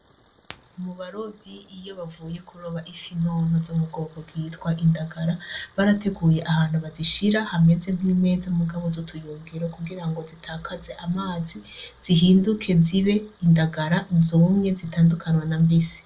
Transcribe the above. Mu barovyi iyo bavuye kuroba ifi ntonto zo m'ubwoko bwitwa indagara barateguye ahantu bazishira hameze nk'imeza mugabo zutuyungiro kugirango zitakaze amazi zihinduke zibe indagara zumye zitandukanwa nambisi.